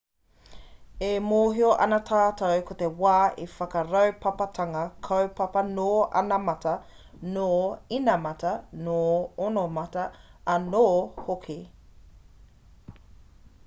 e mōhio ana tātou ko te wā he whakaraupapatanga kaupapa nō anamata nō inamata nō ōnamata anō hoki